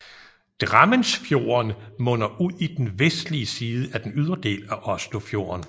Drammensfjorden munder ud i den vestlige side af den ydre del af Oslofjorden